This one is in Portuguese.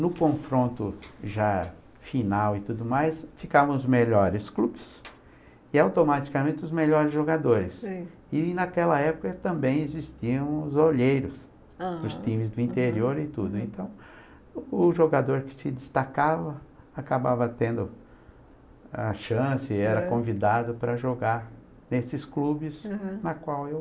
no confronto já final e tudo mais ficavam os melhores clubes e automaticamente os melhores jogadores, seoi, e naquela época também existiam os olheiros os times do interior e tudo então o jogador que se destacava acabava tendo a chance era convidado para jogar nesses clubes, uhum, na qual eu